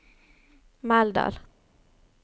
Meldal